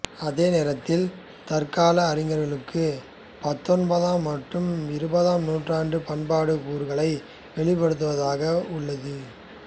அதே நேரத்தில் தற்கால அறிஞர்களுக்கு பத்தொன்பதாம் மற்றும் இருபதாம் நூற்றாண்டு பண்பாட்டுக் கூறுகளை வெளிப்படுத்துவதாக உள்ளது